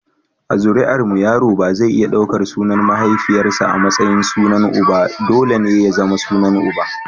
A zuri’armu yaro ba zai iya daukar sunan mahaifiyarsa a matsayin sunan uba, dole ne ya zama sunan uba.